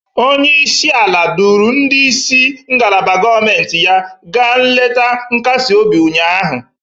Onye isi ala duuru ndị isi ngalaba gọọmentị ya gaa nleta nkasi obi ụnyahụ.